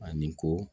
Ani ko